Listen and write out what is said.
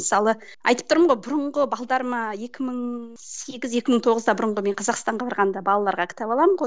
мысалы айтып тұрмын ғой бұрынғы екі мың сегіз екі мың тоғызда бұрынғы мен қазақстанға барғанда балаларға кітап аламын ғой